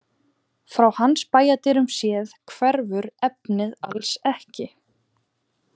Frá hans bæjardyrum séð hverfur efnið alls ekki.